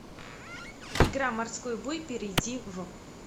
игра морской бой перейди в